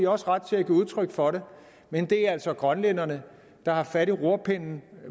også ret til at give udtryk for det men det er altså grønlænderne der har fat i rorpinden